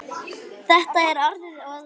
Þetta er orðið að vana.